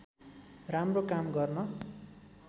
राम्रो काम गर्न